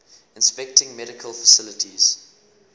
inspecting medical facilities